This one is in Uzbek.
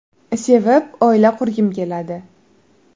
Sevib oila qurgim keladi.